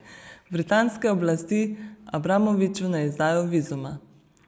Britanske oblasti Abramoviču ne izdajo vizuma.